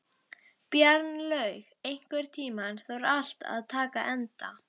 Bjarnlaug, einhvern tímann þarf allt að taka enda.